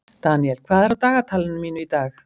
Daniel, hvað er á dagatalinu mínu í dag?